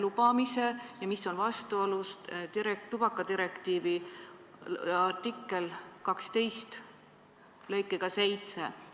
See on vastuolus tubakadirektiivi artikli 12 lõikega 7.